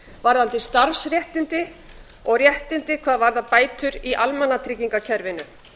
varðandi starfsréttindi og réttindi hvað varðar bætur í almannatryggingakerfinu